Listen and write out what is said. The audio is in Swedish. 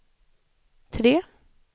tre